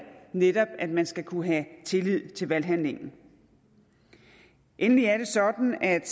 netop at man skal kunne have tillid til valghandlingen endelig er det sådan at